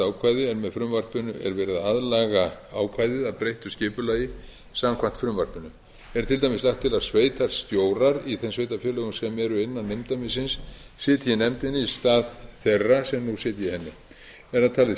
ákvæði en með frumvarpinu er verið að aðlaga ákvæðið að breyttu skipulagi samkvæmt frumvarpinu er til dæmis lagt til að sveitarstjórar í þeim sveitarfélögum sem eru innan umdæmisins sitji í nefndinni í stað þeirra sem nú sitja í henni er það talið